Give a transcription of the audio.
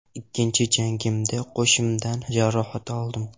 Ikkinchi jangimda qoshimdan jarohat oldim.